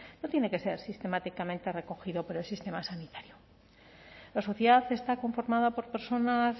no tiene que ser sistemáticamente recogido por el sistema sanitario la sociedad está conformada por personas